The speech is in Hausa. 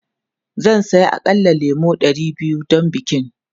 Zan saya aƙalla lemu ɗari biyu don bikin.